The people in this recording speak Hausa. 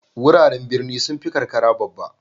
Wuraren birni sun fi karkara babba.